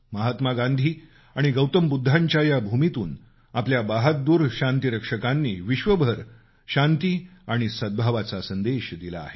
महात्मा गांधी आणि गौतम बुद्धांच्या या भूमीतून आपल्या बहादूर शांतीरक्षकांनी विश्वभर शांती आणि सद्भावाचा संदेश दिला आहे